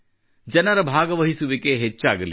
ಜನರ ಭಾಗವಹಿಸುವಿಕೆ ಹೆಚ್ಚಾಗಲಿ